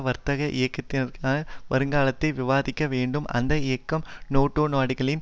வர்க்க இயக்கத்திற்கான வருங்காலத்தை விவாதிக்க வேண்டும் அந்த இயக்கம் நேட்டோ நாடுகளின்